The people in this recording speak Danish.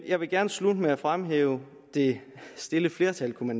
jeg vil gerne slutte med at fremhæve det stille flertal kunne